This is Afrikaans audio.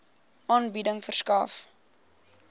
aanbieding verskaf